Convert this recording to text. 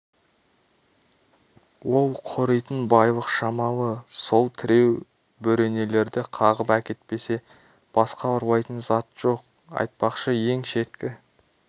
ол қоритын байлық шамалы сол тіреу бөренелерді қағып әкетпесе басқа ұрлайтын зат жоқ айтпақшы ең шеткі